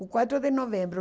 O quatro de novembro.